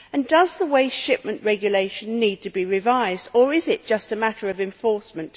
Does the Waste Shipment Regulation need to be revised or is it just a matter of enforcement?